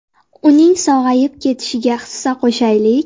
Uning sog‘ayib ketishiga hissa qo‘shaylik!